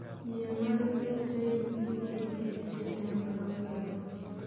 yie mar Britain ibiro ketie tem kawuono